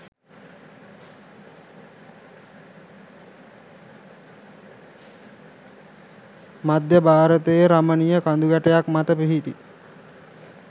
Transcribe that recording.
මධ්‍ය භාරතයේ රමණීය කඳුගැටයක් මත පිහිටි